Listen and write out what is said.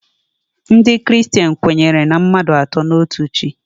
Ndị kristen kwenyere na mmadụ atọ n'otu Chi.